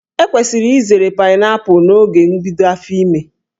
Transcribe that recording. E kwesịrị izere paịnaịpụlụ n'oge mbido áfò ìmè.